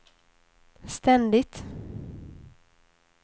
ständigt